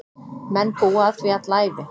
Menn búa að því alla ævi.